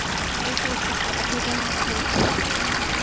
এইতো ভালো, আপনি কেমন আছেন?